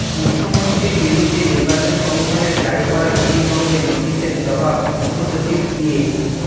মুখ্যমন্ত্রীর বিরুদ্ধে নির্বাচন কমিশনের জারি করা বিধিভঙ্গের নোটিসের জবাব মুখ্যসচিব দিয়ে